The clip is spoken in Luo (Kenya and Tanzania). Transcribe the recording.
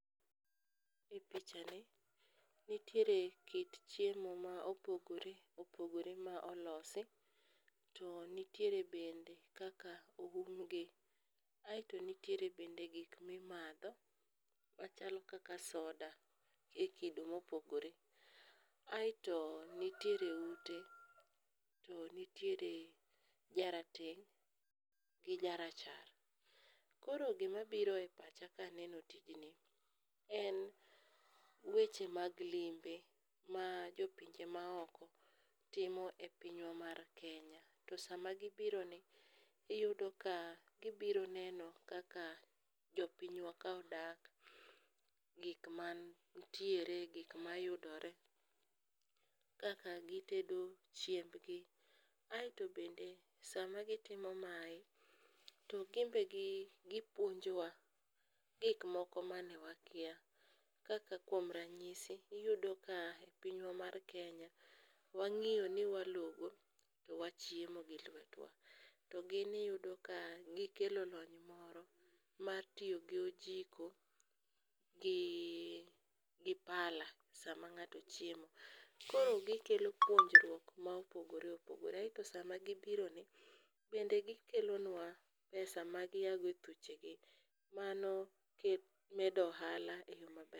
I pichani nitiere kit chiemo ma opogore opogore ma olosi, to nitiere bende kaka oumgi to nitiere bende gik mimadho machalo kaka soda e kido mopogore. Aeto nitiere ute to nitiere jarateng' gi jarachar. Koro gimabiro e pacha kaneno tijni en weche mag limbe ma jopinje maoko timo e pinywa mar Kenya to sama gibironi iyudo ka gibiro neno kaka jopinywa ka odak, gikmantiere, gikmayudore, kaka gitedo chiembgi aeto bende sama gitimo mae to gimbe gipuonjowa gikmoko mane wakia, kaka kuom ranyisi iyudo ka e pinywa mar Kenya wang'iyo ni walogo to wachiemo gi lwetwa to gin iyudo ka gikelo lony moro mar tiyo gi ojiko gi pala sama ng'ato chiemo. Koro gikelo puonjruok ma opogore opogore to sama gibironi bende gikelonwa pesa magiaogo e thuchegi mano medo ohala e yo maber.